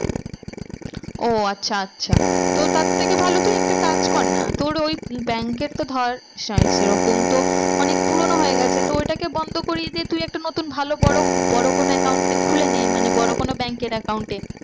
ও আচ্ছা আচ্ছা তো তার থেকে ভালো কি একটা কাজ কর না তোর ওই bank এর তো ধর সেরকম তো অনেক পুরোনো হয়ে গেছে তো ওইটাকে বন্ধ করিয়ে দিয়ে তুই একটা নতুন ভালো বড়ো, বড়ো কোনো account এ খুলে নে মানে বড়ো কোনো bank এর account এ